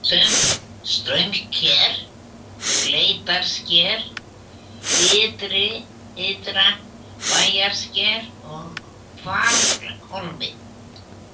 Straumssker, Leitissker, Ytra-Bæjarsker, Hvalhólmi